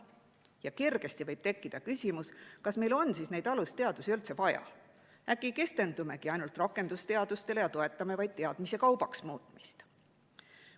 Ja kergesti võib tekkida küsimus, kas meil on siis neid alusteadusi üldse vaja, äkki keskendumegi ainult rakendusteadustele ja toetame vaid teadmiste kaubaks muutmist.